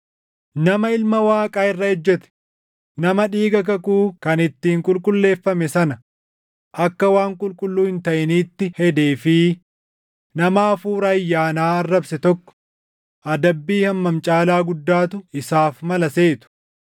Nama Ilma Waaqaa irra ejjete, nama dhiiga kakuu kan ittiin qulqulleeffame sana akka waan qulqulluu hin taʼiniitti hedee fi nama Hafuura ayyaanaa arrabse tokko adabbii hammam caalaa guddaatu isaaf mala seetu?